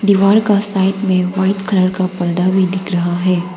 दीवार का साइड में व्हाइट कलर का पर्दा भी दिख रहा है।